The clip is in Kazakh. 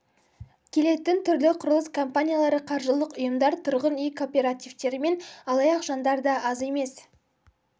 келетін түрлі құрылыс компаниялары қаржылық ұйымдар тұрғын үй кооперативтері мен алаяқ жандар да аз емес